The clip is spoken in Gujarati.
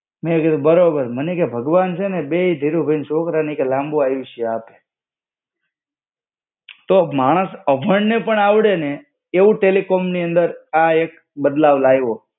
મેં કીધું બરોબર. મને કે ભગવાન છેને બેઈ ધીરુભાઈના છોકરાને એ કે લાબું આયુષ્ય આપે. તો માણસ અભણને પણ આવડેને, એવું ટેલિકોમની અંદર આ એક બદલાવ લાઈવો.